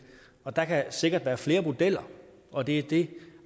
der kan sikkert være flere modeller og det er det